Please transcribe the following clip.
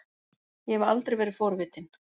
Ég hef aldrei verið forvitin.